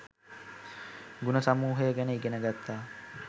ගුණ සමූහය ගැන ඉගෙන ගත්තා